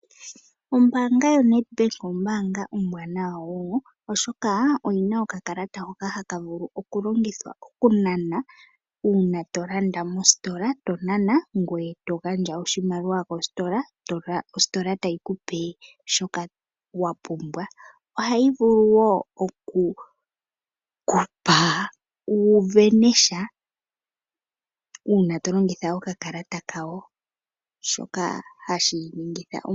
Ombanga yaNedbank ombanga ombwanawa wo, oshoka oyi na okakalata haka vulu okulongithwa okunana uuna to landa mostola, to nana ngoye to gandja oshimaliwa kostola yo ostola tayi kupe shoka wa pumbwa. Ohayi vulu wo okukupa wu sindane sha uuna to longitha okakalata kawo.